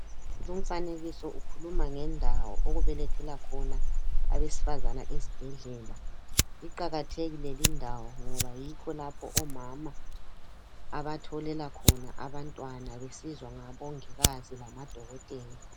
Lumfanekiso ukukhuluma ngendawo okubelethela khona abesifazana esibhedlela. Iqalathekile lindawo ngoba yikho lapho omama abatholela khona abantwana besizwa ngbongikazi lamadokotela.